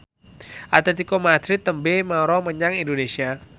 Atletico Madrid tembe mara menyang Indonesia